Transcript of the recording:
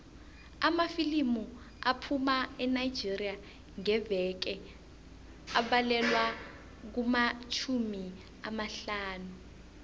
amafilimu aphuma enigeria ngeveke abalelwa kumatjhumi amahlanu